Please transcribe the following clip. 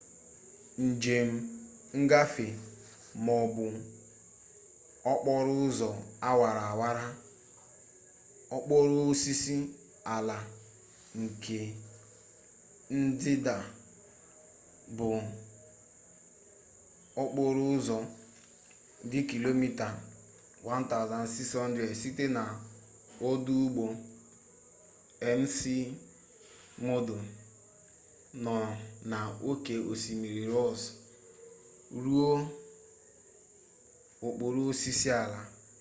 njem ngafe ma ọ bụ okporo ụzọ awara awara okporo osisi ala nke ndịda bụ okporo ụzọ dị kilomita 1600 site na ọdụ ụgbọ mcmurdo nọ na oké osimiri ross ruo okporo osisi ala